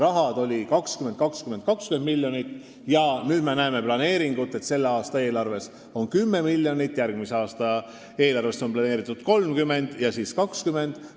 Enne oli 20, 20, 20 miljonit ja nüüd me näeme planeeringut, mille järgi selle aasta eelarvesse on plaanitud 10 miljonit, järgmise aasta eelarvesse 30 ja seejärel 20.